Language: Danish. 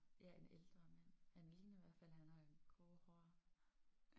Ja en ældre mand. Han ligner i hvert fald han har grå hår